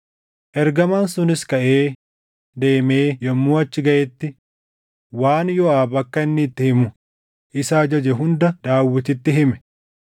Ergamaan sunis kaʼee deemee yommuu achi gaʼetti waan Yooʼaab akka inni itti himu isa ajaje hunda Daawititti hime.